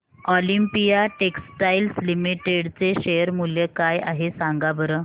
Olympia textiles limited चे share मूल्य काय आहे सांगा बरं